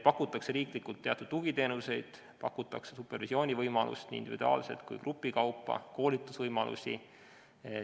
Pakutakse riiklikult teatud tugiteenuseid, pakutakse supervisiooni võimalust nii individuaalselt kui ka grupi kaupa, samuti koolitusvõimalusi.